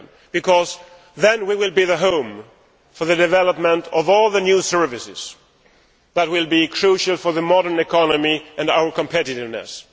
because then we will be home to the development of all the new services that will be crucial to the modern economy and to our competitiveness.